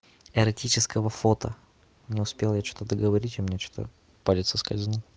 эротического фото не успел я что-то договорить у меня что-то палец соскользнул